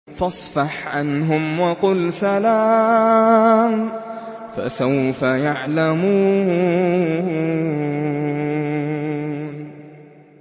فَاصْفَحْ عَنْهُمْ وَقُلْ سَلَامٌ ۚ فَسَوْفَ يَعْلَمُونَ